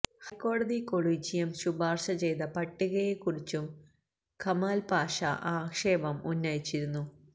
ഹൈക്കോടതി കൊളീജിയം ശുപാര്ശ ചെയ്ത പട്ടികയെക്കുറിച്ചും കെമാല് പാഷ ആക്ഷേപം ഉന്നയിച്ചിരുന്നു